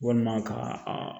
Walima ka a